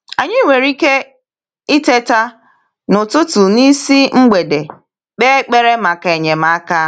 Anyị nwere ike ịteta “n’ụtụtụ n’isi mgbede” kpee ekpere maka enyemaka.